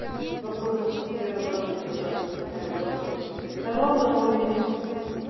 вопросы после первого ролика как отвечаем на вопросы после второго ролика